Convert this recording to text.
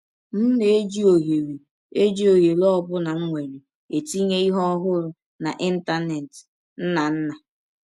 M na - eji ọhere eji ọhere ọ bụla m nwere etinye ihe ọhụrụ n’Ịntanet. ”— Nnanna.